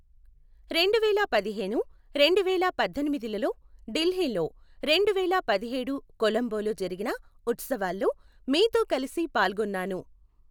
రెండువేల పదిహేను, రెండువేల పద్దెనిమిదిలలో ఢిల్లీలో, రెండువేల పదిహేడు కొలంబోలో జరిగిన ఉత్సవాలలో మీతో కలసి పాల్గొన్నాను.